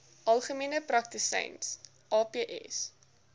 algemene praktisyns aps